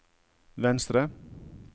venstre